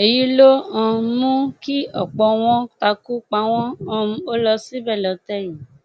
èyí ló um mú kí ọpọ wọn takú páwọn um ó lọ síbẹ lọtẹ yìí